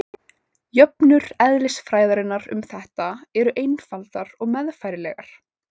jöfnur eðlisfræðinnar um þetta eru einfaldar og meðfærilegar